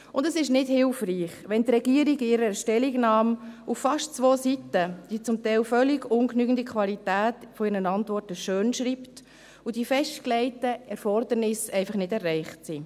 Und es ist nicht hilfreich, wenn die Regierung in ihrer Stellungnahme auf fast zwei Seiten die zum Teil völlig ungenügende Qualität ihrer Antworten schönschreibt und die festgelegten Erfordernisse einfach nicht erreicht sind.